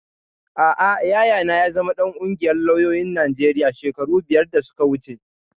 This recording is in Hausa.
Aa, Yayana ya zama ɗan ƙungiyar lauyoyin Najeriya shekaru biyar da suka wuce